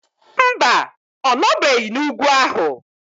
Mba, ọ nọbeghị n'ugwu ahụ.